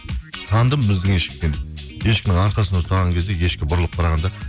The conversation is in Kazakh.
таныдым біздің ешкі екен ешкінің арқасынан ұстаған кезде ешкі бұрылып қараған да